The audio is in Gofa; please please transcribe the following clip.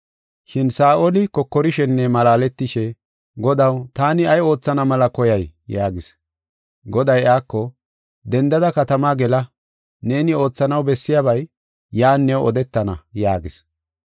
Shin Saa7oli kokorishenne malaaletishe, “Godaw, taani ay oothana mela koyay?” yaagis. Goday iyako, “Dendada katamaa gela; neeni oothanaw bessiyabay yan new odetana” yaagis.